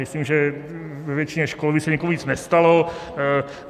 Myslím, že ve většině škol by se nikomu nic nestalo.